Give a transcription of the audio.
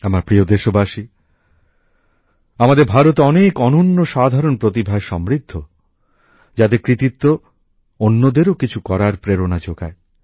আমার প্রিয় দেশবাসী আমাদের ভারত অনেক অনন্য সাধারণ প্রতিভায় সমৃদ্ধ যাদের কৃতিত্ব অন্যদেরও কিছু করার প্রেরণা যোগায়